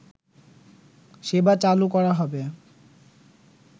সেবা চালু করা হবে